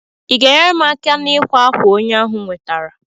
i ga enyere m aka n'ikwa akwa onye ahụ nwetara?